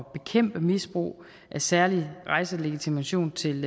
at bekæmpe misbrug af særlig rejselegitimation til